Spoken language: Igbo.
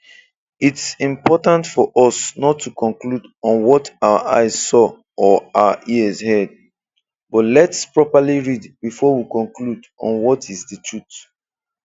It's important for us not to conclude on what our eyes saw or our ears heard, but let's properly read before we conclude on what is the truth.